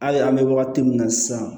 Hali an bɛ wagati min na sisan